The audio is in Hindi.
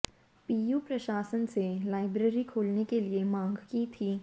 पीयू प्रशासन से लाइब्रेरी खोलने के लिए मांग की थी